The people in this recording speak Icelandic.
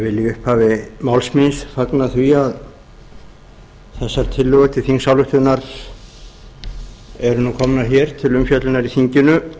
vil í upphafi máls míns fagna því að þessa tillögur til þingsályktunar eru nú komnar hér til umfjöllunar í þinginu